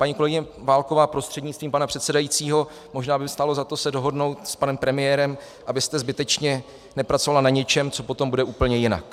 Paní kolegyně Válková prostřednictvím pana předsedajícího, možná by stálo za to se dohodnout s panem premiérem, abyste zbytečně nepracovala na něčem, co potom bude úplně jinak.